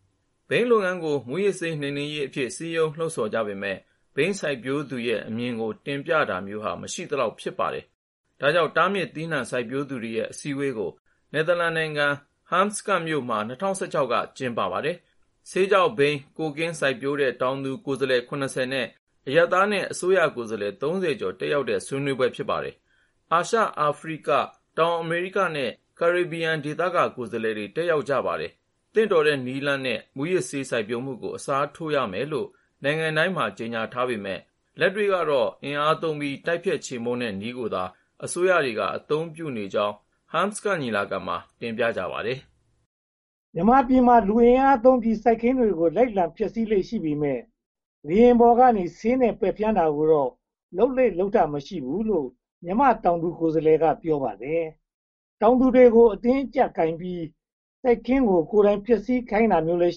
။ ဘိန်းလုပ်ငန်းကို မူးယစ်ဆေးနှိမ်နင်းရေးအဖြစ် စည်းရုံးလှုံဆော်ကြပေမယ့် ဘိန်းစိုက်ပျိုးသူရဲ့ အမြင်ကိုတင်ပြတာမျိုးဟာ မရှိသလောက် ဖြစ်နေပါတယ်။ ဒါကြောင့် တားမြစ်သီးနံှ စိုက်ပျိုးသူတွေရဲ့ အစည်းအဝေးကို နယ်သာလန်နိုင်ငံ၊ ဟတ်စကတ်မြို့မှာ ၂၀၁၆ က ကျင်းပါခဲ့ပါတယ်။ ဆေးခြောက်၊ ဘိန်းနဲ့ ကိုကာ စိုက်ပျိုးတဲ့ တောင်သူကိုယ်စားလှယ် (၇၀) နဲ့ အရပ်သားနဲ့ အစိုးရကိုယ်စားလှယ် (၃၀) ကျော် တက်ရောက်တဲ့ ဆွေးနွေးပွဲ ဖြစ်ပါတယ်။ အာရှ၊ အာဖရိက၊ တောင်အမေရိကနဲ့ ကရေဘီယံဒေသက ကိုယ်စားလှယ်တွေ တက်ရောက်ကြပါတယ်။ သင့်တော်တဲ့နည်းလမ်းနဲ့ မူးယစ်ဆေးစိုက်ပျိုးမှုကို အစားထိုးရမယ်လို့ နိုင်ငံတိုင်းမှာ ကြေညာပေမယ့် လက်တွေ့ကတော့ အင်အားသုံးပြီး တိုက်ဖျက်ချေမှုန်းတဲ့နည်းကိုသာ အစိုးရအဖွဲ့အစည်းတွေက အသုံးပြုနေကြကြောင်း ဟမ်းစကတ်ညီလာခံမှာ တင်ပြကြပါတယ်။ မြန်မာပြည်မှာ လူအင်အားသုံးပြီး စိုက်ခင်းတွေ လိုက်လံဖျက်ဆီးလေ့ရှိပေမယ့် လေယာဉ်ပျံပေါ်က ဆေးဖျန်းတာမျိုးတော့ လုပ်လေ့လုပ်ထ မရှိပါဘူးလို့ မြန်မာတောင်သူကိုယ်စားလှယ်က ပြောပါတယ်။ တောင်သူတွေကို အတင်းအကျပ်ကိုင်ပြီး ကိုယ့်စိုက်ခင်း ကိုယ်တိုင်ဖျက်ဆီးခိုင်းတာမျိုးလည်း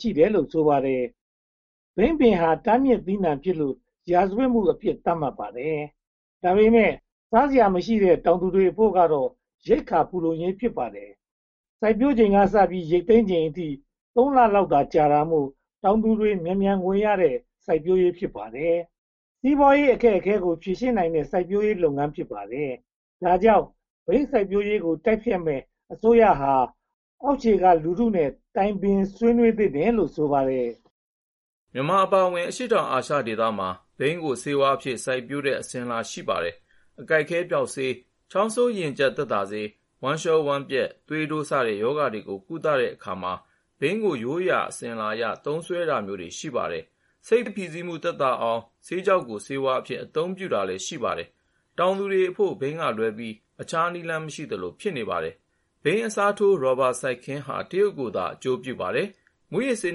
ရှိနေတယ်လို့ ဆိုပါတယ်။ ဘိန်းပင်ဟာ တားမြစ်သီးနံှဖြစ်လို့ ရာဇဝတ်မှုအဖြစ် သတ်မှတ်ပါတယ်။ ဒါပေမဲ့ စားစရာမရှိတဲ့ တောင်သူတွေအဖို့ကတော့ ရိက္ခာဖူလုံရေး ဖြစ်ပါတယ်။ စိုက်ပျိုးချိန်ကစပြီး ရိတ်သိမ်းချိန်အထိ သုံးလလောက်သာ ကြာတာမို့ တောင်သူတွေ မြန်မြန်ငွေရတဲ့ စိုက်ပျိုးရေး ဖြစ်ပါတယ်။ စီးပွားရေးအခက်အခဲကို ဖြေရှင်းနိုင်တဲ့ စိုက်ပျိုးရေး ဖြစ်ပါတယ်။ ဒါကြောင့် ဘိန်းစိုက်ပျိုးရေးကို တိုက်ဖျက်မယ့် အစိုးရဟာ အောက်ခြေကလူထုနဲ့ တိုင်ပင်ဆွေးနွေးသင့်တယ်လို့ ဆိုပါတယ်။ မြန်မာအပါအဝင် အရှေ့တောင်အာရှမှာ ဘိန်းကိုဆေးဝါးအဖြစ် စိုက်ပျိုးတဲ့ အစဉ်အလာ ရှိပါတယ်။ အကိုက်အခဲပျောက်ဆေး၊ ချောင်းဆိုးရင်ကျပ်သက်သာဆေး၊ ဝမ်းလျှောဝမ်းပျက်၊ သွေးတိုးစတဲ့ ရောဂါတွေကို ကုသတဲ့အခါမှာ ဘိန်းကိုရိုးရာအစဉ်အလာအရ သုံးစွဲတာမျိုးတွေ ရှိပါတယ်။ စိတ်ဖိစီးမှုသက်သာအောင် ဆေးခြောက်ကို ဆေးဝါးအဖြစ် အသုံးပြုတာလည်း ရှိပါတယ်။ တောင်သူတွေအဖို့ ဘိန်းကလွဲပြီး အခြားနည်းလမ်းမရှိသလို ဖြစ်နေပါတယ်။ ဘိန်းအစားထိုး ရာဘာစိုက်ခင်းဟာ တရုတ်ကိုသာ အကျိုးပြုပါတယ်။ မူးယစ်ဆေး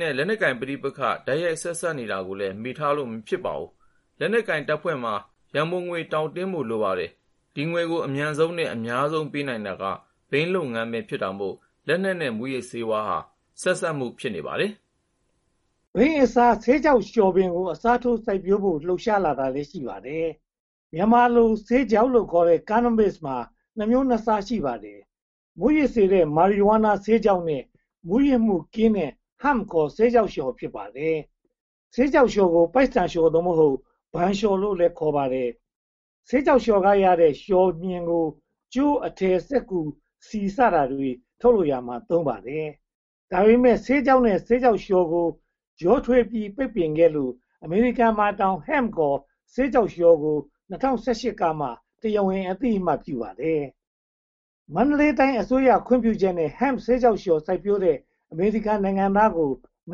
နဲ့ လက်နက်ပဋိပက္ခ တိုက်ရိုက်ဆက်စပ်နေတာကိုလည်း မေ့လို့ မဖြစ်ပါဘူး။ လက်နက်ကိုင်တပ်ဖွဲ့တွေမှာ ရန်ပုံငွေ တောင့်တင်းဖို့ လိုပါတယ်။ ဒီငွေကို အမြန်ဆုံးနဲ့ အများဆုံးပေးနိုင်တာ ဘိန်းလုပ်ငန်းပဲ ဖြစ်တာမို့ လက်နက်နဲ့ မူးယစ်ဆေး ဆက်စပ်နေတာ ဖြစ်ပါတယ်။ ဘိန်းအစား၊ ဆေးခြောက်လျှော်ပင်ကို အစားထိုး စိုက်ပျိုးဖို့ လှုပ်ရှားလာတာလည်း ရှိပါတယ်။ မြန်မာလို ဆေးခြောက်လို့ခေါ်တဲ့ Cannabis မှာ နှစ်မျိုးနှစ်စား ရှိပါတယ်။ မူးယစ်စေတဲ့ Marijuana ဆေးခြောက်နဲ့ မူးယစ်မှုကင်းတဲ့ Hemp ခေါ် ဆေးခြောက်လျှော် ဖြစ်ပါတယ်။ ဆေးခြောက်လျှော်ကို ပိုက်ဆန်လျှော် (သို့မဟုတ်) ဘန်လျှော်လို့လည်း ခေါ်ပါတယ်။ ဆေးခြောက်လျှော်ကရတဲ့ လျှော်မျှင်ကို ကြိုး၊ အထည်၊ စက္ကူ၊ ဆီ စတာတွေ ထုတ်လုပ်ရာမှာ သုံးပါတယ်။ ဒါပေမဲ့ ဆေးခြောက်နဲ့ ဆေးခြောက်လျှော်ကို ရောထွေးပိတ်ပင်ခဲ့လို့ အမေရိကန်မှာတောင် Hemp (ခေါ်) ဆေးခြောက်လျှော်ဟာ ၂၀၁၈ ကမှ တရားဝင် အသိအမှတ်ပြုပါတယ်။ မန္တလေးတိုင်းအစိုးရ ခွင့်ပြုချက်နဲ့ Hemp ဆေးခြောက်လျှော်စိုက်ပျိုးတဲ့ အမေရိကန်နိုင်ငံသားကို မ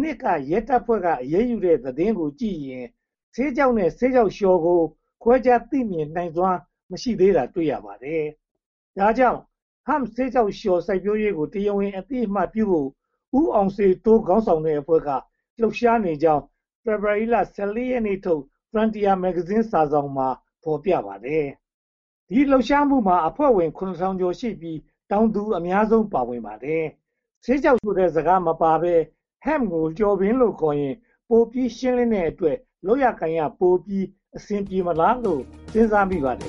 နှစ်က ရဲတပ်ဖွဲ့က အရေးယူတဲ့သတင်းကိုကြည့်ရင် ဆေးခြောက်နဲ့ ဆေးခြောက်လျှော်ကို ခွဲခြားသိမြင်နိုင်စွမ်း မရှိသေးတာ တွေ့ရပါတယ်။ ဒါကြောင့် Hemp ဆေးခြောက်လျှော် စိုက်ပျိုးရေးကို တရားဝင်အသိအမှတ်ပြုဖို့ ဦးအောင်စေတိုး ခေါင်းဆောင်တဲ့အဖွဲ့က လှုပ်ရှားနေကြောင်း ဖေဖေါ်ဝါရီလ (၁၄) ရက်နေ့ထုတ် Frontier Myanmar မြန်မာစာစောင်မှာ ဖော်ပြထားပါတယ်။ ဒီလှုပ်ရှားမှုမှာ အဖွဲ့ဝင် (၇၀၀၀) ကျော်ရှိပြီး၊ တောင်သူအများဆုံး ပါဝင်ပါတယ်။ ဆေးခြောက်ဆိုတဲ့ စကားမပါဘဲ Hemp ကို လျှော်ပင်လို့ခေါ်ရင် ပိုပြီးရှင်းလင်းတဲ့အတွက် လုပ်ရကိုင်ရတာပိုပြီး အဆင်ပြေမလားလို့ စဉ်းစားမိပါတယ်